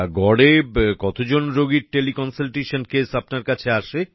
গড়ে কতজন রোগীর টেলিকনসাল্টেশন কেস আপনার কাছে আসে